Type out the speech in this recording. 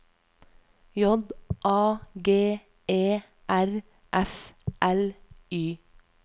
J A G E R F L Y